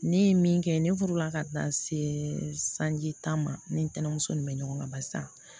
Ne ye min kɛ ne furu la ka taa se sanji tan ma ne ni ntɛnɛmuso nin bɛ ɲɔgɔn kan barisa